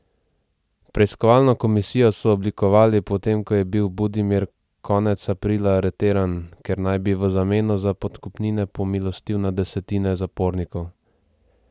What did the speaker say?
Preiskovalno komisijo so oblikovali, potem ko je bil Budimir konec aprila aretiran, ker naj bi v zameno za podkupnine pomilostil na desetine zapornikov.